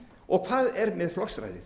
og hvað er með flokksræðið